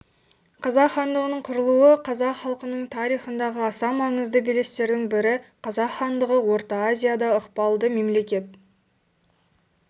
қазақ хандығының құрылуы қазақ халқының тарихындағы аса маңызды белестердің бірі қазақ хандығы орта азияда ықпалды мемлекет